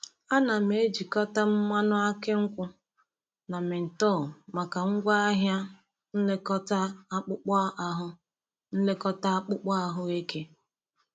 Ana m ejikọta mmanụ aki nkwu na menthol maka ngwaahịa nlekọta akpụkpọ ahụ nlekọta akpụkpọ ahụ eke.